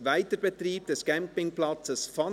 «Weiterbetrieb des Campingplatzes Fanel».